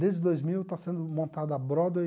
Desde dois mil está sendo montada a Broadway,